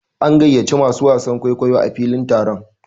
An gayyaci masu wasan kwaikwayo a filin taron.